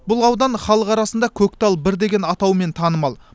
бұл аудан халық арасында көктал бір деген атаумен танымал